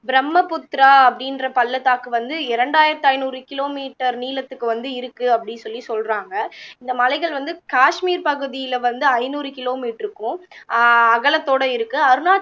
பிரம்மபுத்திரா அப்படின்ற பள்ளத்தாக்கு வந்து இரண்டாயிரத்து ஐந்நூறு kilometer நீளத்துக்கு வந்து இருக்கு அப்படி சொல்லி சொல்லுறாங்க இந்த மலைகள் வந்து காஷ்மீர் பகுதியில வந்து ஐந்நூறு kilometer க்கும் அஹ் அகலத்தோட இருக்கு அருணாச்ச